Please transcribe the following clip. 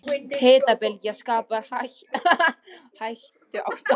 Hitabylgja skapar hættuástand